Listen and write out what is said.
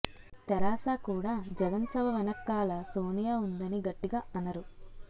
తెరాస కూడా జగన్ సభ వెనక్కాల సోనియా వుందని గట్టిగా అనరు